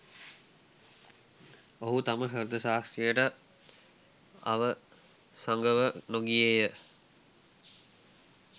ඔහු තම හෘද සාක්ෂියට අවසඟව නොගියේය